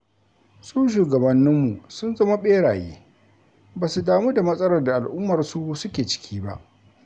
Su shugabanninmu sun zama ɓeraye, ba su damu da matsalar da al'ummarsu suke ciki ba.